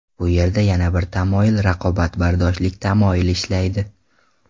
Bu yerda yana bir tamoyil raqobatbardoshlik tamoyili ishlaydi.